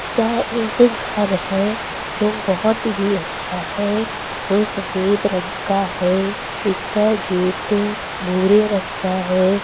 यह एक घर है जो बहुत ही अच्छा है। जो सफ़ेद रंग का है इसका गेट अ भूरे रंग का है।